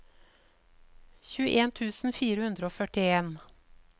tjueen tusen fire hundre og førtien